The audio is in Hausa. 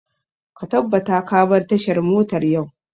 Ka tabbata ka bar tashar motar yau!